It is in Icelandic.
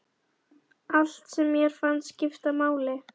Allt sem mér fannst skipta máli.